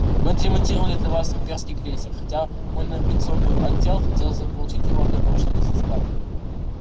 мы отремонтировали для вас имперский крейсер хотя мой навигационный отдел хотел заполучить его для научных изысканий